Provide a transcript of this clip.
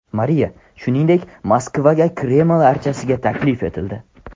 Mariya, shuningdek, Moskvaga Kreml archasiga taklif etildi.